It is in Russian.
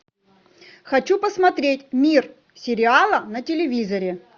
хочу посмотреть мир сериала на телевизоре